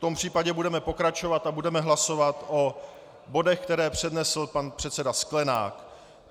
V tom případě budeme pokračovat a budeme hlasovat o bodech, které přednesl pan předseda Sklenák.